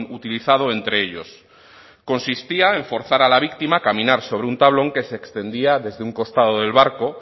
utilizado entre ellos consistía en forzar la víctima caminar sobre un tablón que se extendía desde un costado del barco